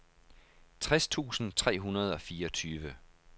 tres tusind tre hundrede og fireogtyve